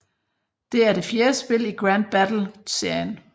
Det er det fjerde spil i Grand Battle serien